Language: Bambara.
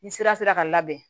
Ni sira sera ka labɛn